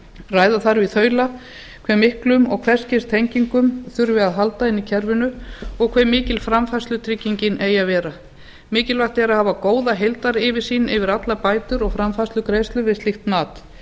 ræða þarf í þaula hve miklum og hvers kyns tengingum þurfi að halda inni í kerfinu og hve mikil framfærslutryggingin eigi að vera mikilvægt er að hafa góða heildaryfirsýn yfir allar bætur og framfærslugreiðslur við slíkt mat